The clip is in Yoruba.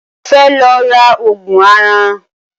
Mo fẹ́ lọ ra Ògùn aràn